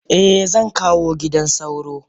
Eh zankawo gidan sauro.